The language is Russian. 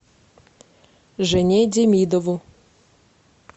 жене демидову